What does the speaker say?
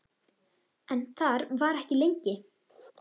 En þar var ekki lengi.